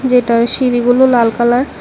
এটায় সিঁড়িগুলো লাল কালার ।